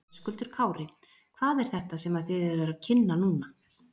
Höskuldur Kári: Hvað er þetta sem að þið eruð að kynna núna?